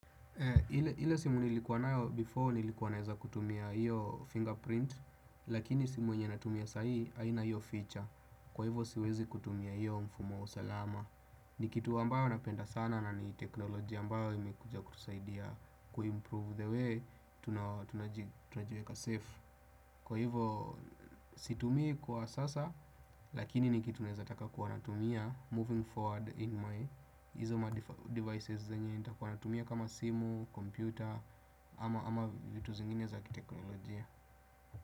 Ile simu nilikuwa nayo before nilikuwa naweza kutumia hiyo fingerprint lakini simu yenye natumia sahii haina hiyo feature. Kwa hivo siwezi kutumia hiyo mfumo wa usalama. Ni kitu ambao napenda sana na ni teknolojia mbayo imekuja kutusaidia kuimprove the way tunajiweka safe. Kwa hivo situmi kwa sasa lakini ni kitu naeza taka kuwanatumia moving forward in my izo madevices zenye nita kuwanatumia kama simu, kompyuta ama vitu zingine za kiteknolojia.